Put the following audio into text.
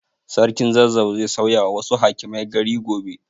Sarkin Zazzau zai sauyawa wasu hakimai gari gobe.